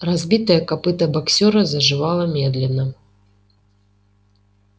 разбитое копыто боксёра заживало медленно